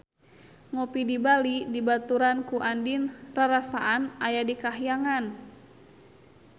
Ngopi di Bali dibaturan ku Andien rarasaan aya di kahyangan